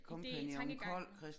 Ideen tankegangen og